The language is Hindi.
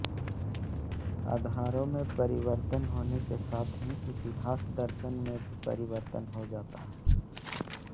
आधारों में परिवर्तन होने के साथ ही इतिहास दर्शन में भी परिवर्तन हो जाता है